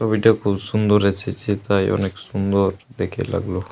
ছবিটা খুব সুন্দর এসেছে তাই অনেক সুন্দর দেখে লাগলো।